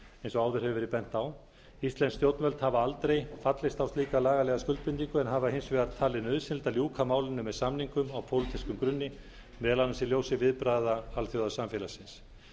eins og áður hefur verið bent á íslensk stjórnvöld hafa aldrei fallist á slíka lagalega skuldbindingu en hafa hins vegar talið nauðsynlegt að ljúka málinu með samningum á pólitískum grunni meðal annars í ljósi viðbragða alþjóðasamfélagsins